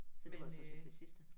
Så det var sådan set det sidste